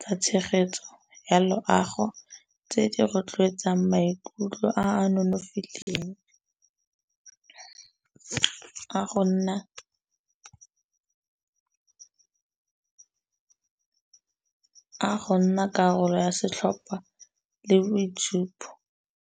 tsa tshegetso ya loago tse di rotloetsang maikutlo a nonofileng a go nna, a go nna karolo ya setlhopha le boitshupo.